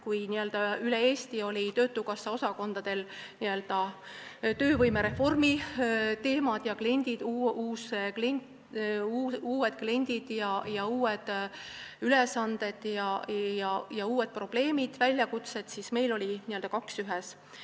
Kui üle Eesti olid töötukassa osakondadel probleemiks töövõimereformi teemad, uued kliendid, uued ülesanded ja uued väljakutsed, siis meil oli n-ö kaks ühes.